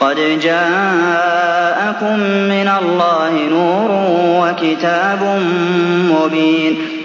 قَدْ جَاءَكُم مِّنَ اللَّهِ نُورٌ وَكِتَابٌ مُّبِينٌ